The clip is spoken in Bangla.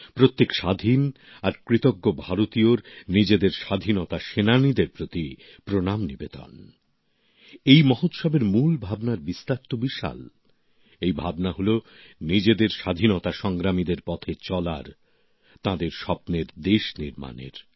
প্রত্যেক স্বাধীন আর কৃতজ্ঞ ভারতীয়র নিজেদের স্বাধীনতা সংগ্রামীদের প্রতি প্রণাম নিবেদনে আর এই মহোৎসবের মূল ভাবনার বিস্তার তো বিশাল এই ভাবনা হল নিজেদের স্বাধীনতা সংগ্রামীদের পথে চলার তাঁদের স্বপ্নের দেশ নির্মাণের